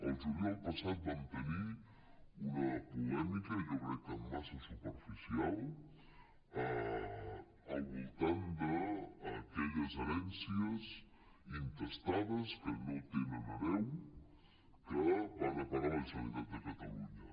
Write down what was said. el juliol passat vam tenir una polèmica jo crec que massa superficial al voltant d’aquelles herències intestades que no tenen hereu que van a parar a la generalitat de catalunya